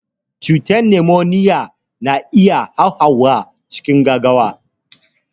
Cutar numoniya na iya hauhawa cikin gaugawa.